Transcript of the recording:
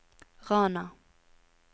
Rana